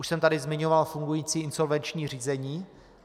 Už jsem tady zmiňoval fungující insolvenční řízení.